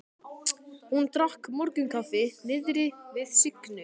Hún drakk morgunkaffi niðri við Signu.